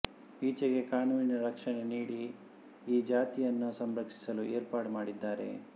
ಈಚೆಗೆ ಕಾನೂನಿನ ರಕ್ಷಣೆ ನೀಡಿ ಈ ಜಾತಿಯನ್ನು ಸಂರಕ್ಷಿಸಲು ಏರ್ಪಾಟು ಮಾಡಿದ್ದಾರೆ